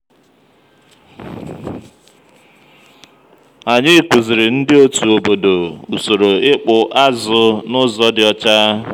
ànyị kụzìrì ndị otu obodò usòrò ịkpụ́ àzụ̀ n'ụzọ dị ọchá.